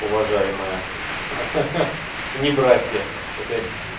уважаемая ха-ха не братья это